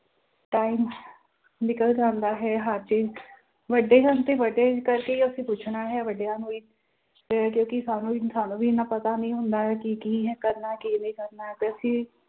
time ਨਿਕਲ ਜਾਂਦਾ ਹੈ ਹਜੇ ਵੱਡੇ ਹਨ ਤੇ ਵੱਡੇ ਕਰਕੇ ਹੀ ਅਸੀਂ ਪੁੱਛਣਾ ਹੈ ਵੱਡਿਆਂ ਨੂੰ ਹੀ ਤੇ ਕਿਉਂਕਿ ਸਾਨੂੰ ਵੀ ਸਾਨੂੰ ਵੀ ਇੰਨਾ ਪਤਾ ਨੀ ਹੁੰਦਾ ਹੈ ਕਿ ਕੀ ਹੈ ਕਰਨਾ ਕੀ ਨਹੀਂ ਕਰਨਾ ਤੇ ਅਸੀਂ